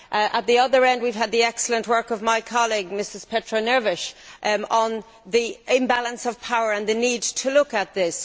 At the other end we have had the excellent work of my colleague Mrs Patrão Neves on the imbalance of power and the need to look at this.